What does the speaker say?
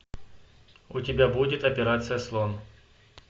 у тебя будет операция слон